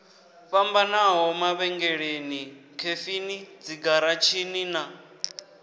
fhambanaho mavhengeleni khefini dzigaratshini na